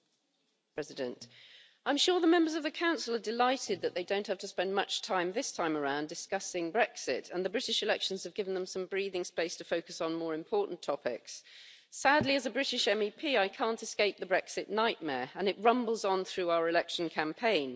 Madam President, I'm sure the members of the Council are delighted that they don't have to spend much time this time around discussing Brexit and the British elections have given them some breathing space to focus on more important topics. Sadly, as a British MEP, I can't escape the Brexit nightmare and it rumbles on through our election campaign.